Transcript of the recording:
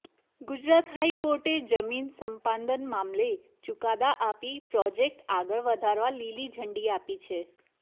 ગુજરાત હાઈકોર્ટે જમીન સંપાદન મામલે ચુકાદા આપી પ્રોજેક્ટ આગળ વધારવા લીલી ઝંડી આપી છે